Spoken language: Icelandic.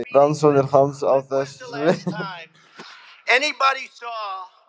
Rannsóknir hans á þessu sviði hafa gert hann eins umdeildan heimspeking og raun ber vitni.